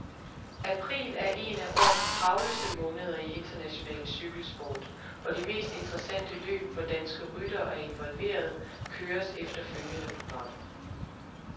April er en af årets travleste måneder i international cykelsport, og de mest interessante løb, hvor danske ryttere er involveret, køres efter følgende program.